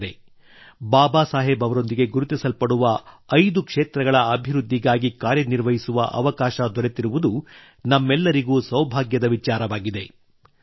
ಸ್ನೇಹಿತರೇ ಬಾಬಾ ಸಾಹೇಬ್ ಅವರೊಂದಿಗೆ ಗುರುತಿಸಲಾಗುವ ಐದು ಕ್ಷೇತ್ರಗಳ ಅಭಿವೃದ್ಧಿಗಾಗಿ ಕಾರ್ಯ ನಿರ್ವಹಿಸುವ ಅವಕಾಶ ದೊರೆತಿರುವುದು ನಮ್ಮೆಲ್ಲರಿಗೂ ಸೌಭಾಗ್ಯದ ವಿಚಾರವಾಗಿದೆ